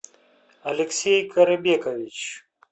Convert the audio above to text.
алексей карабекович